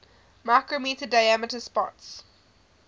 micrometre diameter spots